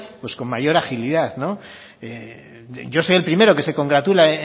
con mayor agilidad yo soy el primero que se congratula